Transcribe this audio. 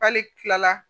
Hali kila la